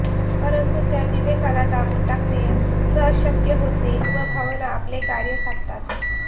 परंतु त्या विवेकाला दाबून टाकणे सहज शक्य होते व भावना आपले कार्य साधतात